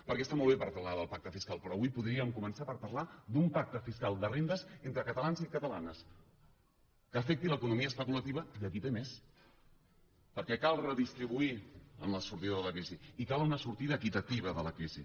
perquè està molt bé parlar del pacte fiscal però avui podríem començar per parlar d’un pacte fiscal de rendes entre catalans i catalanes que afecti l’economia especulativa i qui té més perquè cal redistribuir en la sortida de la crisi i cal una sortida equitativa de la crisi